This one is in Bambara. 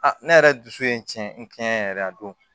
ne yɛrɛ dusu ye n tiɲɛ n tiɲɛ yɛrɛ a don